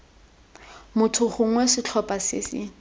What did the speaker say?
motho gongwe setlhopha se se